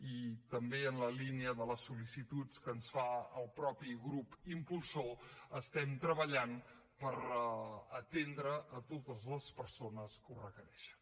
i també en la línia de les sol·licituds que ens fa el mateix grup impulsor estem treballant per atendre totes les persones que ho requereixen